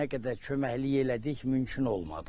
Nə qədər köməklik elədik, mümkün olmadı.